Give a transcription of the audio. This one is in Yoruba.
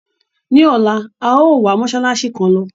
Ní ọ̀la, a yòó wa mósálásí kan lọ.